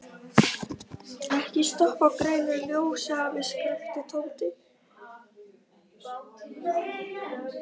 Ekki stoppa á grænu ljósi, afi! skrækti Tóti.